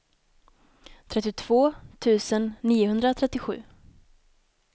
trettiotvå tusen niohundratrettiosju